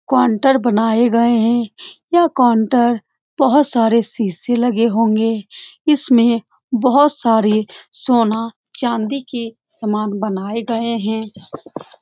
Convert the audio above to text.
Counter बनाये गए है यह काउंटर बहुत सारे शीशे लगे होंगे इसमें बहुत सारे सोना चाँदी के सामान बनाये गए है।